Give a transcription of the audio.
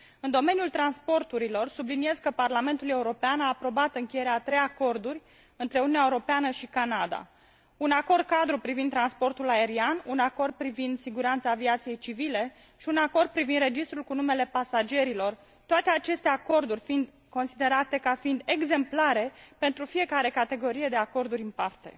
Subliniez că, în domeniul transporturilor, Parlamentul European a aprobat încheierea a trei acorduri între Uniunea Europeană și Canada un acord cadru privind transportul aerian, un acord privind siguranța aviației civile și un acord privind registrul cu numele pasagerilor, toate aceste acorduri fiind considerate ca exemplare pentru fiecare categorie de acorduri în parte.